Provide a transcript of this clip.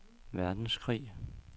verdenskrig